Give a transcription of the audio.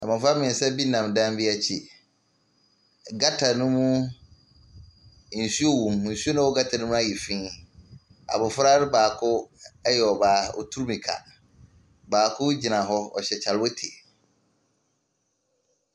Mmɔfra mmeɛnsa bi nam dan bi akyi. Gutter no mu, nsuo wɔ mu. Nsuo no a ɛwɔ gutter no mu ayɛ fi. Abofra no baako yɛ ɔbaa. Ɔretu mmierika. Baako gyina hɔ. Ɔhyɛ kyalewote.